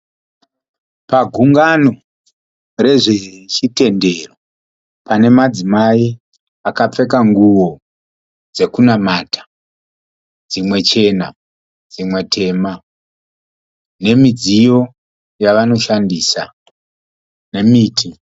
Pagungano rezve chitendero pane madzimai akapfeka nguwo dzekunamata. Dzimwe chena dzimwe tema nemidziyo yavanoshandisa nemiti.